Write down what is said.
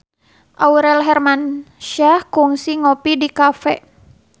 Aurel Hermansyah kungsi ngopi di cafe